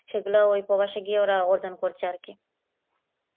সেইগুলা ওই প্রবাসী দিয়ে ওরা অর্জন করছে আর কি